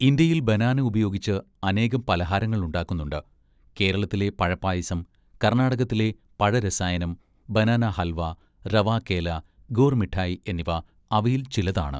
ഇന്ത്യയിൽ ബനാനയുപയോഗിച്ച്‌ അനേകം പലഹാരങ്ങൾ ഉണ്ടാക്കുന്നുണ്ട്-കേരളത്തിലെ പഴപ്പായസം, കർണ്ണാടകത്തിലെ പഴരസായനം, ബനാനാഹൽവാ, റവാ കേല, ഗൂർ മിട്ടായ് എന്നിവ അവയിൽച്ചിലതാണ്.